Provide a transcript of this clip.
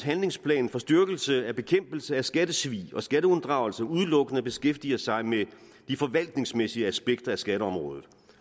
handlingsplan for styrkelse af bekæmpelse af skattesvig og skatteunddragelse udelukkende beskæftiger sig med de forvaltningsmæssige aspekter af skatteområdet